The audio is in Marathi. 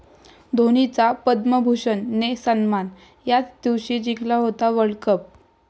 धोनीचा 'पद्मभूषण'ने सन्मान, याच दिवशी जिंकला होता वर्ल्डकप!